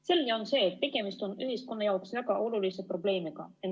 Selge on see, et tegemist on ühiskonna jaoks väga olulise probleemiga.